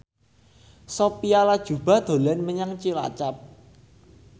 Sophia Latjuba dolan menyang Cilacap